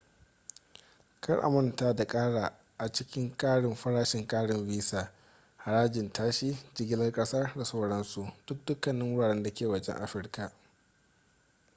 kar a manta da kara a cikin karin farashin karin visa harajin tashi jigilar kasa da sauransu don dukkanin wuraren da ke wajen afirka